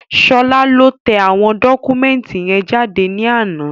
Ṣọlá lọ tẹ àwọn dọ́kúmẹ̀ntì yẹn jáde ní àná